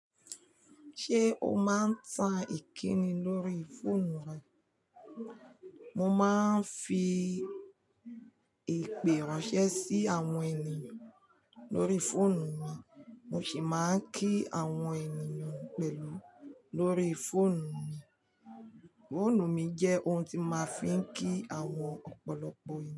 Ṣé o máa ń ta ìkíni lórí fóònù rẹ? Mo máa ń fi ìpè ránṣẹ́ sí àwọn ènìyàn lórí fóònù mi, mo sì máa ń kí àwọn ènìyàn pẹ̀lú lórí fóònù mi. Fóònù mi jẹ́ ohun tí mo máa ń fi ń kí àwọn ọ̀pọ̀lọpọ̀ ènìyàn.